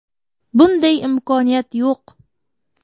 Bunday imkoniyat yo‘q.